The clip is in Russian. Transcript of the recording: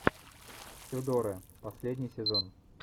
тюдоры последний сезон